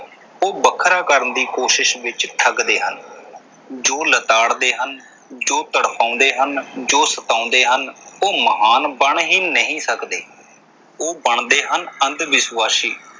ਉਹ ਵੱਖਰਾ ਕਰਨ ਦੀ ਕੋਸ਼ਿਸ ਵਿੱਚ ਠੱਗਦੇ ਹਨ। ਜੋ ਲਿਤਾੜਦੇ ਹਨ, ਜੋ ਤੜਪਾਉਂਦੇ ਹਨ, ਜੋ ਸਤਾਉਂਦੇ ਹਨ ਉਹ ਮਹਾਨ ਬਣ ਹੀ ਨਹੀਂ ਸਕਦੇ ਉਹ ਬਣਦੇ ਹਨ ਅੰਧ ਵਿਸ਼ਵਾਸ਼ੀ।